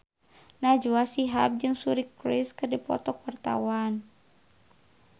Najwa Shihab jeung Suri Cruise keur dipoto ku wartawan